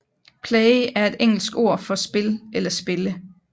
Play er et engelsk ord for spil eller spille